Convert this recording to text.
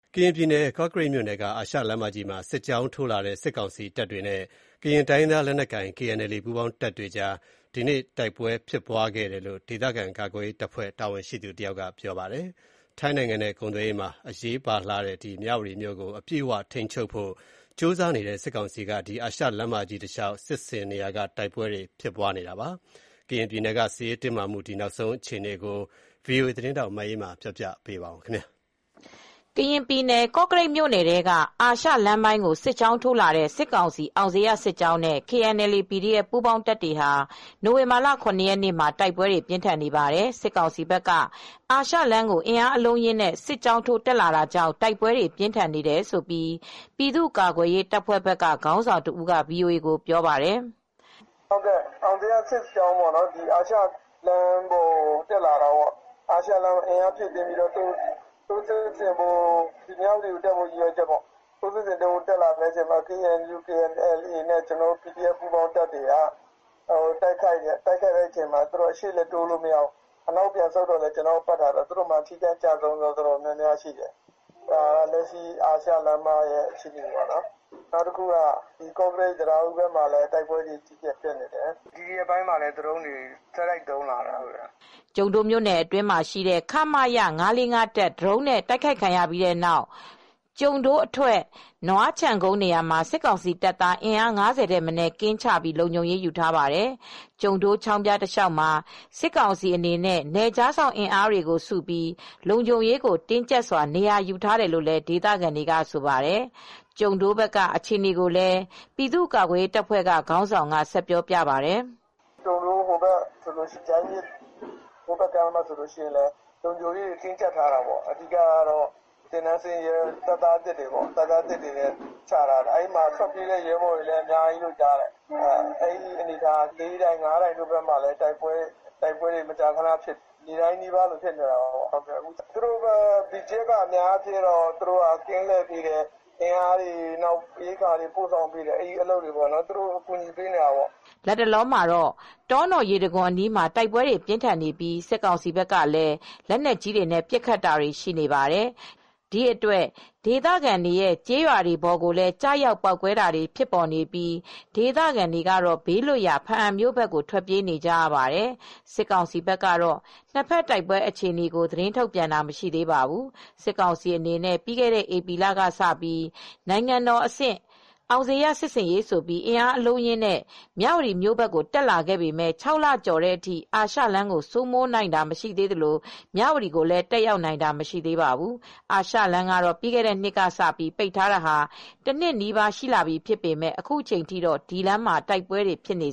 ကရင်ပြည်နယ် ကော့ကရိတ်မြို့နယ်က အာရှလမ်းမကြီးမှာ စစ်ကြောင်းထိုးလာတဲ့ စစ်ကောင်စီတပ်ဖွဲ့ တွေနဲ့ ကရင်တိုင်းရင်းသား လက်နက်ကိုင် KNLA နဲ့ပူးပေါင်းတပ်တို့ကြား ဒီကနေ့ တိုက်ပွဲဖြစ်ခဲ့ကြောင်း ဒေသခံကာကွယ်ရေးတပ်ဖွဲ့ တာဝန်ရှိသူတယောက်ကပြောပါတယ်။ ထိုင်းနိုင်ငံနဲ့ ကုန်သွယ်ရေးမှာ အရေးပါတဲ့ မြဝတီမြို့ကို အပြည့်အ၀ထိန်းချုပ်ဖို့ ကြိုးစားနေတဲ့ စစ်ကောင်စီက အာရှလမ်းမကြီး တလျှောက် စစ်ဆင်နေရာက တိုက်ပွဲတွေ ဖြစ်ပွားနေတာပါ။ ကရင်ပြည်နယ်က စစ်ရေးတင်းမာမှု နောက်ဆုံးအခြေအနေနဲ့ပတ်သက်လို့ ဗွီအိုအေသတင်းထောက်မအေးအေးမာ သတင်းပေးပို့ထားပါတယ်။ ကရင်ပြည်နယ် ကော့ကရိတ်မြို့နယ်ထဲကအာရှလမ်းပိုင်းကို စစ်ကြောင်းထိုးလာတဲ့ စစ်ကောင်စီ အောင်ဇေယျစစ်ကြောင်းနဲ့ KNLA /PDF ပူးပေါင်းတပ်တွေက နိုဝင်ဘာလ ၇ ရက်နေ့မှာ တိုက်ပွဲတွေ ပြင်းထန်နေပါတယ်။ စစ်ကောင်စီဘက်က အာရှလမ်းကိုအင်းအားအလုံးအရင်းနဲ့ စစ်ကြောင်းထိုးတက် လာတာကြောင့် တိုက်ပွဲတွေပြင်းထန်နေတယ်လို့ ပြည်သူ့ကာကွယ်ရေးတပ်ဖွဲ့ဘက်က ခေါင်းဆောင်တဦးက VOA ကို ပြောပါတယ်။ “အောင်ဇေယျစစ်ကြောင်းက အာရှလမ်းပေါ်တက်လာတာပေ့ါနော်၊ အာရှလမ်းပေါ်ကို အင်အား ဖြည့်တင်းပြီး တက်လာတာပါ။ မြ၀တီကိုတက်လာဖို့ရည်ရွယ်ချက်ပေါ့။ ကျနော်တို့ KNLA-PDF ပူးပေါင်းတပ်တွေက ပြန်ပြီးတိုက်တဲ့အချိန်မှာ သူတို့ဘက်က ရှေ့လည်းတိုးမရ၊ နောက်လည်း ဆုတ်မရနဲ့ သူတို့မှာ ထိခိုက်ကျဆုံးတာများများရှိတယ်။ လက်ရှိ အာရှလမ်းမပေါ်ကအခြေအနေပါ။ ပြီးတော့ ကော့ကရိတ်-တံတားဦးဘက်မှာလည်း တိုက်ပွဲတွေအကြီးအကျယ်ဖြစ်နေတယ်။ ဒီရက်ပိုင်းမှာပဲ ဒရုန်းတွေကိုဆက်တိုက်သုံးလာပါတယ်။” ကျုံဒိုးမြို့အတွင်းမှာရှိတဲ့ ခမရ ၅၄၅ တပ် ဒရုန်းနဲ့တိုက်ခိုက်ခံရပြီးနောက် ကျုံဒိုးအထွက် နွားခြံကုန်း နေရာမှာ စစ်ကောင်တပ်သား အင်အား ၅၀ ထက်မနည်း ကင်းချပြီး လုံခြုံရေးယူထားပါတယ်။ ကျုံဒိုးချောင်းဖျားတလျှောက်မှာ စစ်ကောင်စီတပ်နဲ့ နယ်ခြားစောင့်အင်အားတွေစုပေါင်းပြီး လုံခြုံရေးတင်းကြပ်ထားတယ်လို့လည်း ဒေသခံတွေကဆိုပါတယ်။ ကျုံဒိုးဘက်ကအခြေအနေကိုလည်း ဆက်ပြောပြပါတယ်။ “ကျုံဒိုးဟိုဘက် ဂျိုင်းမြစ်တဘက်ကမ်းမှာလည်း စစ်တပ်က တပ်သားသစ်တွေချထားတယ်။ ထွက်ပြေးတဲ့ရဲဘော်တွေလည်းများတယ်။ အဲဒီ လေးတိုင် ငါးတိုင်ရွာတွေဘက်မှာလည်းတိုက်ပွဲတွေ ဖြစ်နေတယ်။ နေ့တိုင်းနီးပါးပေါ့။ နယ်ခြားစောင့်တပ်က ကင်းလှည့်ပေးတယ်။ အင်အားတွေ ဖြည့်တင်းပေးတယ်။ သူတို့ ကို ကူညီပေးတယ်။” လတ်တလောမှာတော့ တောနော်ရေတံခွန်အနီးမှာတိုက်ပွဲတွေဖြစ်နေပြီး စစ်ကောင်စီဘက်က ပစ် လိုက်တဲ့ လက်နက်ကြီးကျည်တွေဟာ ကျေးရွာတွေပေါ်ကျရောက်ပေါက်ကွဲနေတာကြောင့် ဒေသခံတွေ ဟာ လက်နက်ကြီးတွေနဲ့ပစ်ခတ်နေပါတယ်။ ဘားအံမြို့ဘက်ကို ထွက်ပြေးနေကြပါတယ်။ စစ်ကောင်စီဘက်ကတော့ နှစ်ဖက်တိုက်ပွဲအခြေအနေကို သတင်းထုတ်ပြန်တာမရှိသေးပါဘူး။ စစ်ကောင်စီအနေနဲ့ ပြီးခဲ့တဲ့ဧပြီလကစပြီး နိုင်ငံတော်အဆင့် အောင်ဇေယျစစ်ဆင်ရေးဆိုပြီး အင်းအားအလုံးအရင်းနဲ့ မြ၀တီမြို့ဘက်ကိုတက်လာခဲ့ပေမယ့် ၆ လကျော်ကြာတဲ့အထိ အာရှလမ်းကို စိုးမိုးနိုင်တာမရှိသေးပါဘူး။ ဒါ့အပြင်မြ၀တီဘက်ကိုလည်းအပြည့်အ၀ ထိမ်းချုပ်နိုင်တာမရှိသေးပါဘူး။ အာရှလမ်းကတော့ ပြီးခဲ့တဲ့နှစ်ကစပြီး ပိတ်ထားတာ တနှစ်နီးပါးရှိလာပြီဖြစ်ပေမယ့် အခုချိန်ထိတော့ အဲဒီလမ်းမှာ တိုက်ပွဲတွေဖြစ်နေ